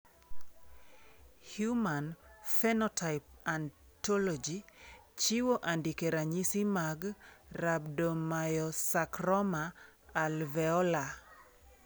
Human Phenotype Ontology chiwo andike ranyisi mag Rhabdomyosarcoma alveolar.